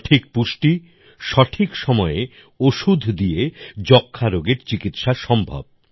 সঠিক পুষ্টি সঠিক সময়ে ওষুধ দিয়ে যক্ষ্মা রোগের চিকিৎসা সম্ভব